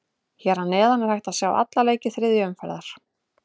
Hér að neðan er hægt að sjá alla leiki þriðju umferðar.